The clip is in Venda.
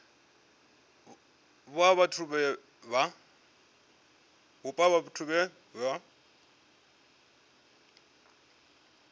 vhupo ha vhathu vhe vha